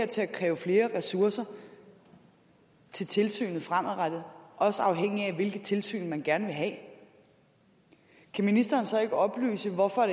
til at kræve flere ressourcer til tilsynet fremadrettet også afhængigt af hvilket tilsyn man gerne vil have kan ministeren så ikke oplyse hvorfor